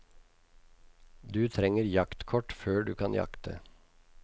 Du trenger jaktkort før du kan jakte.